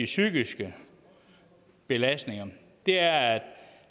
psykiske belastninger er er